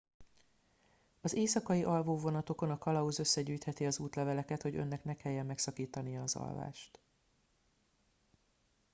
az éjszakai alvó vonatokon a kalauz összegyűjtheti az útleveleket hogy önnek ne kelljen megszakítania az alvást